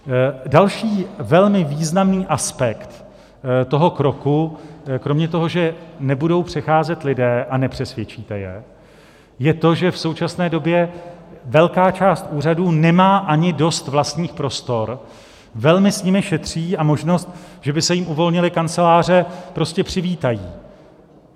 Další velmi významný aspekt toho kroku, kromě toho, že nebudou přecházet lidé a nepřesvědčíte je, je to, že v současné době velká část úřadů nemá ani dost vlastních prostor, velmi s nimi šetří, a možnost, že by se jim uvolnily kanceláře, velmi přivítají.